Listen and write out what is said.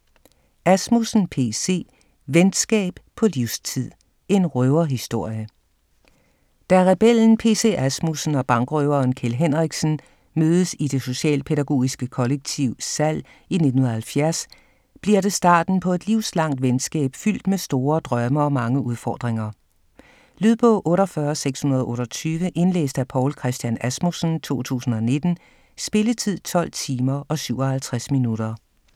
Asmussen, P. C.: Venskab på livstid: en røverhistorie Da rebellen P.C. Asmussen og bankrøveren Kjeld Henriksen mødes i det socialpædagogiske kollektiv Sall i 1970 bliver det starten på et livslangt venskab fyldt med store drømme og mange udfordringer. Lydbog 48628 Indlæst af Poul Christian Asmussen, 2019. Spilletid: 12 timer, 57 minutter.